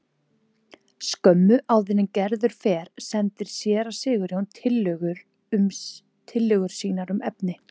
Skömmu áður en Gerður fer sendir séra Sigurjón tillögur sínar um efni.